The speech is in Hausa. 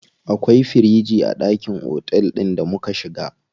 Akwai firiji a ɗakin otel ɗin da muka shiga.